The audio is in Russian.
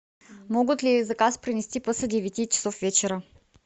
могут ли заказ принести после девяти часов вечера